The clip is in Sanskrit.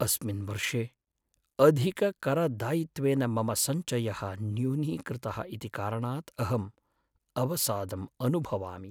अस्मिन् वर्षे अधिककरदायित्वेन मम सञ्चयः न्यूनीकृतः इति कारणात् अहम् अवसादम् अनुभवामि।